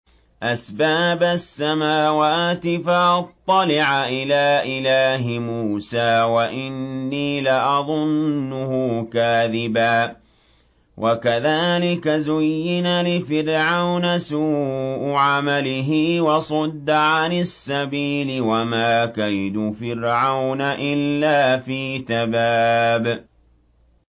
أَسْبَابَ السَّمَاوَاتِ فَأَطَّلِعَ إِلَىٰ إِلَٰهِ مُوسَىٰ وَإِنِّي لَأَظُنُّهُ كَاذِبًا ۚ وَكَذَٰلِكَ زُيِّنَ لِفِرْعَوْنَ سُوءُ عَمَلِهِ وَصُدَّ عَنِ السَّبِيلِ ۚ وَمَا كَيْدُ فِرْعَوْنَ إِلَّا فِي تَبَابٍ